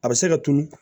A bɛ se ka tunun